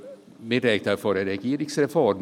Wir sprechen von einer Regierungsreform.